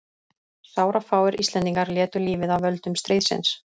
Sárafáir Íslendingar létu lífið af völdum stríðsins.